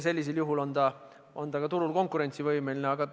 Sellisel juhul on see turul konkurentsivõimeline.